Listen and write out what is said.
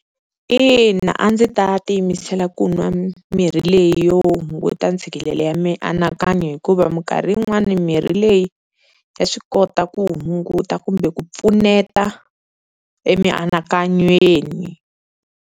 Ina a ndzi ta tiyimisela ku nwa mirhi leyi yo hunguta ntshikelelo ya mianakanyo, hikuva minkarhi yin'wani mirhi leyi ya swi kota ku hunguta kumbe ku pfuneta emianakanyweni.